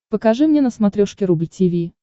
покажи мне на смотрешке рубль ти ви